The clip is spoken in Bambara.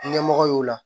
Ɲɛmɔgɔ y'o la